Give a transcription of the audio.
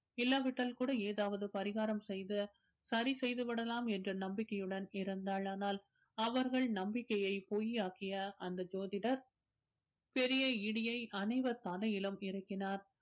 இல்லாவிட்டால் கூட ஏதாவது பரிகாரம் செய்து சரிசெய்து விடலாம் என்ற நம்பிக்கையுடன் இருந்தாள் ஆனால் அவர்கள் நம்பிக்கைய பொய்யாக்கிய அந்த ஜோதிடர் பெரிய இடியை அனைவர் தலையிலும் இறக்கினார்